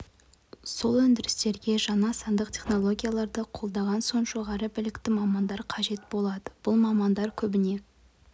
сол өндірістерге жаңа сандық технологияларды қолданған соң жоғары білікті мамандар қажет болады бұл мамандар көбіне